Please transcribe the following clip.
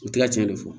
U tila tiɲɛ de fɔ